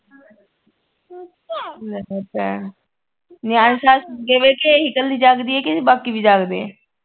ਲੈ ਭੈਣ ਸਾਰੇ ਸੁੱਤੇ ਪਏ ਕਿ ਇਹੀ ਕੱਲੀ ਜਾਗਦੀ ਐ ਕਿ ਬਾਕੀ ਵੀ ਜਾਗਦੇ ਐ